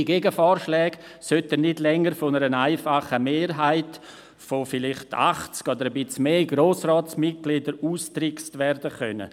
Solche Gegenvorschläge sollten nicht länger von einer einfachen Mehrheit von vielleicht 80 oder etwas mehr Grossratsmitgliedern ausgetrickst werden können.